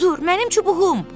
Budur, mənim çubuğum!